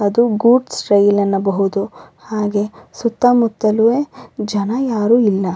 ಅದು goods rail ಅನ್ನಬಹುದು ಹಾಗೆ ಸುತ್ತಮುತ್ತಲು ಜನ ಯಾರು ಇಲ್ಲ.